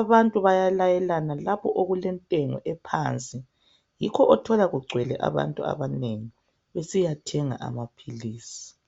Abantu bayalayelana lapho okulentengo phansi yikho othola kugcwele abantu abanengi besiyathenga amaphilisi.